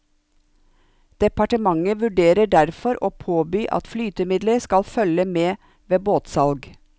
Departementet vurderer derfor å påby at flytemidler skal følge med ved båtsalg.